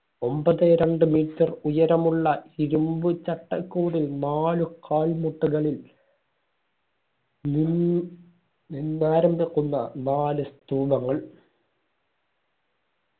ഒമ്പതേ രണ്ട് metre ഉയരമുള്ള ഇരുമ്പു ചട്ടക്കൂടിൽ നാലു കാൽമുട്ടുകളിൽ മൂ നിന്നാരംഭിക്കുന്ന നാല് സ്തൂപങ്ങൾ